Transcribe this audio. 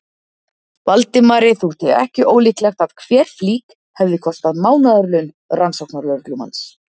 Valdimari þótti ekki ólíklegt að hver flík hefði kostað mánaðarlaun rannsóknarlögreglumanns.